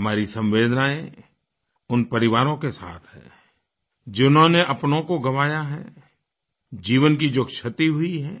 हमारी संवेदनाएँ उन परिवारों के साथ हैं जिन्होंने अपनों को गँवाया है जीवन की जो क्षति हुई है